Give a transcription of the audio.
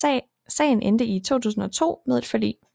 Sagen endte i 2002 med et forlig